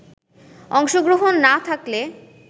অংশগ্রহণ না থাকলে